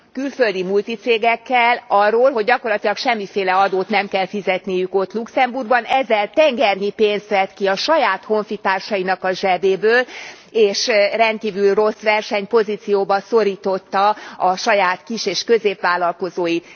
külföldi multicégekkel arról, hogy gyakorlatilag semmilyen adót nem kell fizetniük ott Luxemburgban, ezzel tengernyi pénzt vett ki a saját honfitársainak a zsebéből, és rendkívül rossz versenypozícióba szorította a saját kis és középvállalkozóit?